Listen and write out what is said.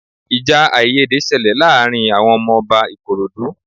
Ìjà àìyédè ṣẹlẹ̀ láàárín àwọn ọmọ Ọba Ikorodu